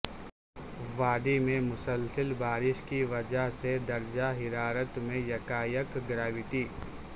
وادی میں مسلسل بارش کی وجہ سے درجہ حرارت میں یکایک گراوٹ